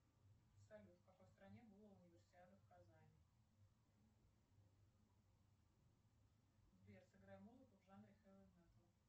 салют в какой стране была универсиада в казани сбер сыграй музыку в жанре хэви металл